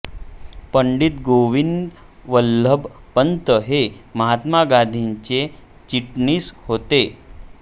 पंडित गोविंद वल्लभ पंत हे महात्मा गांधींचे चिटणीस होते